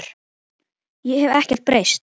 Ég hef ekkert breyst!